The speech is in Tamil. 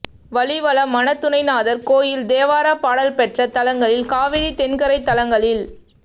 வலிவலம் மனத்துணைநாதர் கோயில் தேவாரப் பாடல் பெற்ற தலங்களில் காவிரி தென்கரைத் தலங்களில்